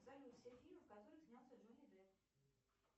салют все фильмы в которых снялся джонни депп